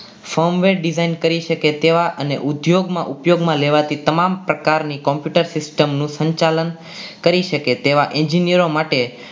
સોમવેદ design કરી શકે તેવા ને અને ઉદ્યોગમાં ઉપયોગ લેવાથી તમામ પ્રકારની computer system નું સંચાલન કરી શકે એવા engineer ઓ માટે